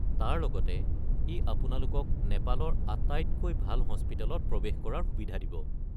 তাৰ লগতে ই আপোনালোকক নেপালৰ আটাইতকৈ ভাল হস্পিটেলত প্ৰৱেশ কৰাৰ সুবিধা দিব।